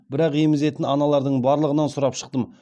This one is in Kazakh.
бірақ емізетін аналардың барлығынан сұрап шықтым